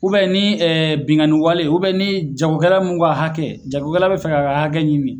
ni binnkanni wale ni jagokɛla min ka hakɛ jagokɛla bɛ fɛ k'a ka hakɛ ɲini